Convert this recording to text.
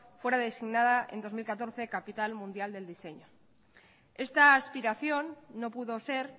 fuera designada en dos mil catorce capital mundial del diseño esta aspiración no pudo ser